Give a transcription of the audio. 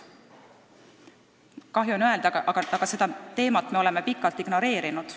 Kahju on öelda, aga seda teemat me oleme pikalt ignoreerinud.